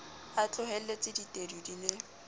a tlohelletse ditedu di le